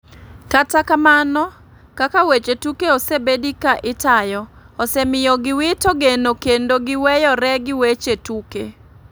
Kata kamano kaka weche tuke osebedi ka itayo osemiyo gi wito geno kendo giweyore gi weche tuke.